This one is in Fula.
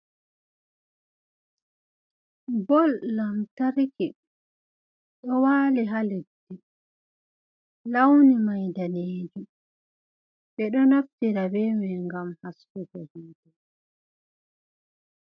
Bol lamtarki, ɗo wali ha leddi, launi may daneejum, ɓeɗo naftira be mai ngam haskugo hite.